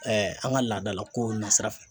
an ka laadalakow nasira fɛ.